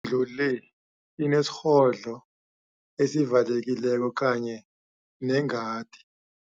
lu le inesirhodlo esivalekileko kanye nengadi.